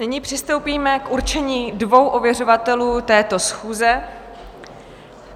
Nyní přistoupíme k určení dvou ověřovatelů této schůze.